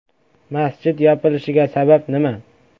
Masjid yopilishiga sabab nima?